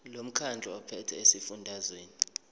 lomkhandlu ophethe esifundazweni